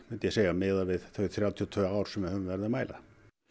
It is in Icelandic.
miðað við þau þrjátíu og tvö ár sem við höfum verið að mæla